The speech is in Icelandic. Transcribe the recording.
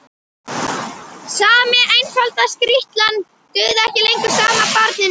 Sami einfalda skrýtlan dugði ekki lengur sama barninu.